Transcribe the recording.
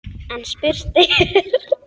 En spurt er: